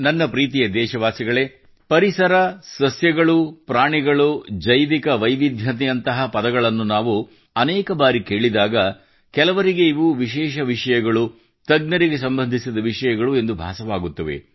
ನನ್ನ ಪ್ರೀತಿಯ ದೇಶವಾಸಿಗಳೇ ಪರಿಸರ ಸಸ್ಯಗಳು ಪ್ರಾಣಿಗಳು ಜೈವಿಕ ವೈವಿಧ್ಯತೆಯಂತಹ ಪದಗಳನ್ನು ನಾವು ಅನೇಕ ಬಾರಿ ಕೇಳಿದಾಗ ಕೆಲವರಿಗೆ ಇವು ವಿಶೇಷ ವಿಷಯಗಳು ತಜ್ಞರಿಗೆ ಸಂಬಂಧಿಸಿದ ವಿಷಯಗಳು ಎಂದು ಭಾಸವಾಗುತ್ತದೆ